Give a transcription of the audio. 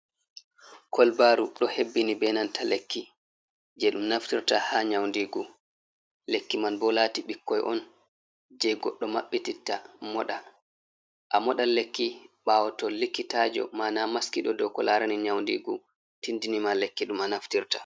Kolbaru ɗo hebbini be nanta lekki jei ɗum Naftirta ha nyaundigu. Lekki man bo lati ɓikkoi'on je Goddo mabɓititta moɗa. Amoɗna lekki ɓawo to likkitajo mana Maskiɗo do ko larani Nyaundigu tiddini ma Lekki ɗum a naftirta.